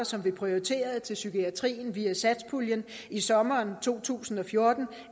som blev prioriteret til psykiatrien via satspuljen i sommeren to tusind og fjorten